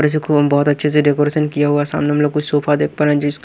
और इसको बहुत अच्छे से डेकोरेशन किया हुआ है सामने हम लोग कुछ सोफा देख पा रहे हैं जिस--